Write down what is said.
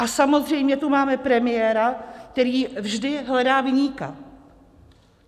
A samozřejmě tu máme premiéra, který vždy hledá viníka.